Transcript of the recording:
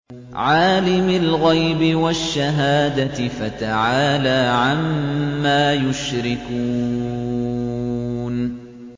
عَالِمِ الْغَيْبِ وَالشَّهَادَةِ فَتَعَالَىٰ عَمَّا يُشْرِكُونَ